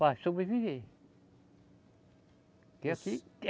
Para sobreviver. Porque aqui